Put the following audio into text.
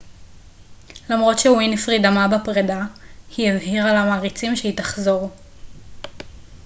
למרות שווינפרי דמעה בפרידה היא הבהירה למעריציה שהיא תחזור